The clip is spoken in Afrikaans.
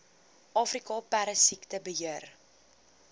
afrika perdesiekte beheer